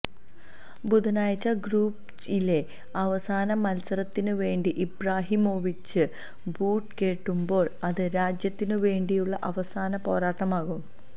ബുധനാഴ്ച ഗ്രൂപ്പ് ഇയിലെ അവസാന മത്സരത്തിന് വേണ്ടി ഇബ്രാഹിമോവിച്ച് ബൂട്ട് കെട്ടുമ്പോള് അത് രാജ്യത്തിനു വേണ്ടിയുള്ള അവസാന പോരാട്ടമാകും